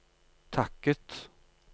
takket